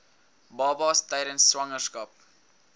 babas tydens swangerskap